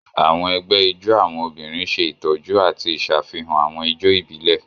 Àwọn egbé ijó àwọn obìnrin ṣe ìtọjú ati iṣafihan àwọn ijó ibilẹ.